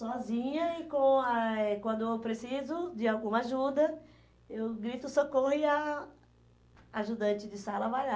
Sozinha e com a eh quando eu preciso de alguma ajuda, eu grito socorro e a ajudante de sala vai lá.